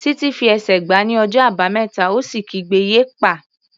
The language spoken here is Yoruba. Títí fi ẹsẹ̀ gbá ní ọjọ́ Àbámẹ́ta ó sì kígbe "yéèpà!"